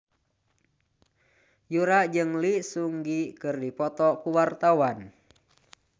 Yura jeung Lee Seung Gi keur dipoto ku wartawan